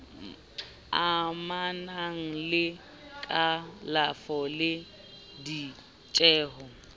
amanang le kalafo le ditjeho